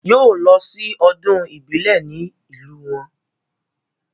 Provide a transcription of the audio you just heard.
Yóò lọ sí ọdún ìbílẹ̀ ní ìlú wọn